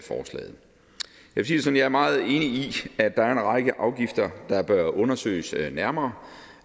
vil sige det er meget enig i at der er en række afgifter der bør undersøges nærmere